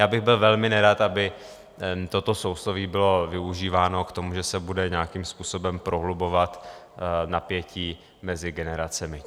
Já bych byl velmi nerad, aby toto sousloví bylo využíváno k tomu, že se bude nějakým způsobem prohlubovat napětí mezi generacemi.